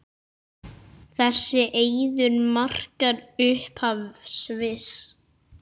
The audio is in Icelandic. Þessi eiður markar upphaf Sviss.